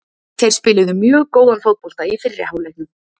Þeir spiluðu mjög góðan fótbolta í fyrri hálfleiknum.